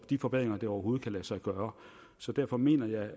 de forbedringer der overhovedet kan lade sig gøre derfor mener jeg